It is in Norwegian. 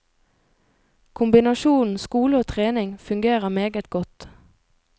Kombinasjonen skole og trening fungerer meget godt.